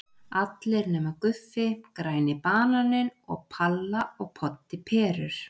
Allir nema Guffi, Græni bananinn og Palla og Poddi perur.